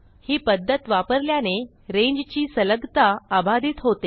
ही पध्दत वापरल्याने रांगे ची सलगता अबाधित राहते